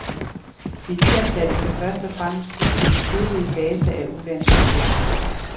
De nyansatte skal først og fremmest bruges i den tidlige fase af ulandsprojekterne.